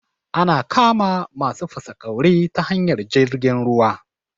Ana kama masu fasaƙauri ta hanyar jirgin ruwa